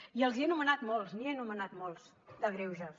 i els n’he anomenat molts n’hi he anomenat molts de greuges